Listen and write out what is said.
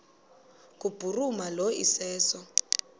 kubhuruma lo iseso